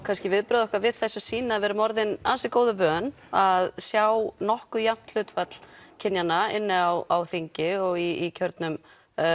kannski viðbrögð okkar við þessu sýna að við erum orðin ansi góðu vön að sjá nokkuð jafnt hlutfall kynjanna inni á þingi og í kjörnum